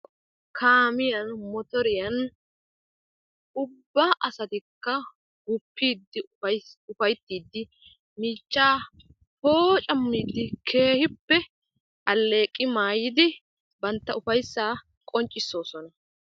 Kaammiya motoriyan ubba asatikka gupiidi poocammiidi keehippe aleeqi maayidi banta ufaysaa qonccisoosona.